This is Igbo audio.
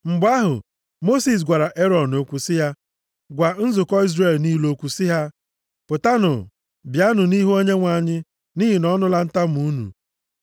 Mgbe ahụ, Mosis gwara Erọn okwu sị ya, “Gwa nzukọ Izrel niile okwu sị ha, ‘Pụtanụ bịa nʼihu Onyenwe anyị, nʼihi na ọ nụla ntamu unu.’ ”